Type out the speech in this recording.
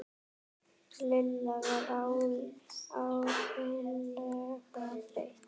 Lilla var ægilega þreytt.